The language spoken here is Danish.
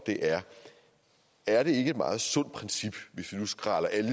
er er det ikke et meget sundt princip hvis vi nu skræller alle